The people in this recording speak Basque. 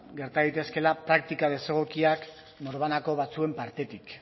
gerta daitezkeela praktika desegokiak norbanako batzuen partetik